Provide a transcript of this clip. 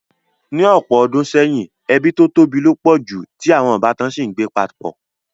Ní ọ̀pọ̀ odùn seyìn, ebí to tóbi lo pọ̀ ju, ti àwon ìbátan si n gbé papọ̀